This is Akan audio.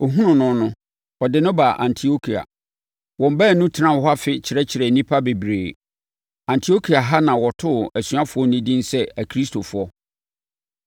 Ɔhunuu no no, ɔde no baa Antiokia. Wɔn baanu tenaa hɔ afe, kyerɛkyerɛɛ nnipa bebree. Antiokia ha na wɔtoo asuafoɔ no din sɛ “Akristofoɔ.”